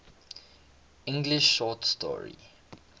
english short story